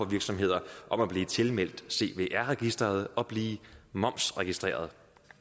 virksomheder om at blive tilmeldt cvr registeret og blive momsregistreret